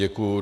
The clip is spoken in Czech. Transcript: Děkuji.